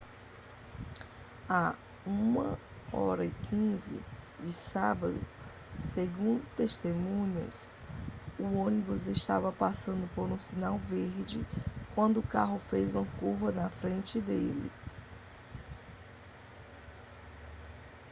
à 1:15 de sábado segundo testemunhas o ônibus estava passando por um sinal verde quando o carro fez uma curva na frente dele